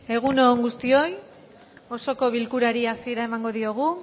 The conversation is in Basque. egun on guztioi osoko bilkurari hasiera emango diogu